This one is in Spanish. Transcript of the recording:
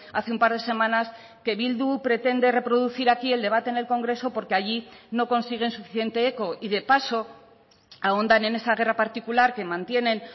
hace un par de semanas que bildu pretende reproducir aquí el debate en el congreso porque allí no consiguen suficiente eco y de paso ahondan en esa guerra particular que mantienen